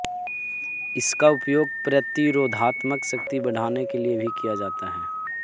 इसका उपयोग प्रतिरोधात्मक शक्ति बढाने के लिए भी किया जाता है